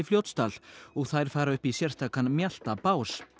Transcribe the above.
Fljótsdal og þær fara upp í sérstakan mjaltabás